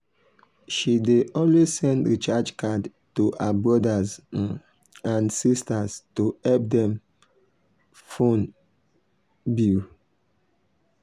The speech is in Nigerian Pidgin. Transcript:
she dey always send recharge card to her brothers um and sisters to help dem um phone um bill.